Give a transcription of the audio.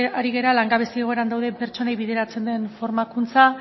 ari gara langabezia egoeran dauden pertsonei bideratzen den formakuntza